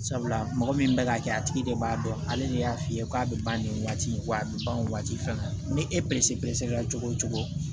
Sabula mɔgɔ min bɛ ka kɛ a tigi de b'a dɔn ale de y'a f'i ye ko a bɛ ban nin waati in wa a bɛ ban nin waati fɛn na ni e kɛra cogo o cogo